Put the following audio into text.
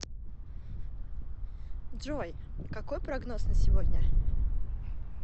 джой какой прогноз на сегодня